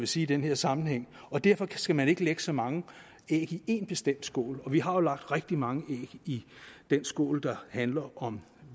sige i den her sammenhæng derfor skal man ikke lægge så mange æg i en bestemt skål og vi har lagt rigtig mange æg i den skål der handler om